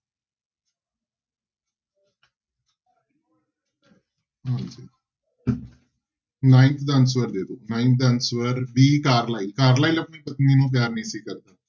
ਹਾਂਜੀ ninth ਦਾ answer ਦੇ ਦਓ nine ਦਾ answer d ਕਾਰਲਾਈਲ ਕਾਰਲਾਈਲ ਆਪਣੀ ਪਤਨੀ ਨੂੰ ਪਿਆਰ ਨਹੀਂ ਸੀ ਕਰਦਾ।